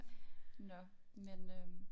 Nåh men øh